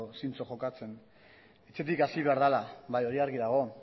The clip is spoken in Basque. zintzo jokatzen etxetik hasi behar dela argi dago